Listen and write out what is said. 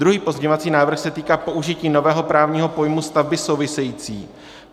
Druhý pozměňovací návrh se týká použití nového právního pojmu stavby související.